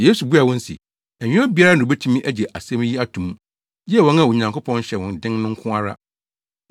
Yesu buaa wɔn se, “Ɛnyɛ obiara na obetumi agye asɛm yi ato mu, gye wɔn a Onyankopɔn hyɛ wɔn den no nko ara.